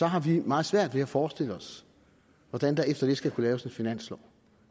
har vi meget svært ved at forestille os hvordan der efter det skal kunne laves en finanslov